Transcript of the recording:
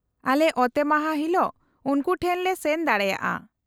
-ᱟᱞᱮ ᱚᱛᱮᱢᱟᱦᱟ ᱦᱤᱞᱳᱜ ᱩᱱᱠᱩ ᱴᱷᱮᱱ ᱞᱮ ᱥᱮᱱ ᱫᱟᱲᱮᱭᱟᱜᱼᱟ ᱾